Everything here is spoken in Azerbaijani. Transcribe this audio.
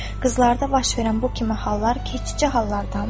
Qızlarda baş verən bu kimi hallar keçici hallardandır.